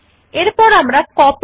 so let us learn how to do this